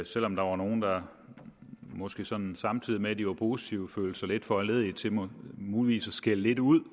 selv om der var nogle der måske sådan samtidig med at de var positive følte sig lidt foranlediget til muligvis at skælde lidt ud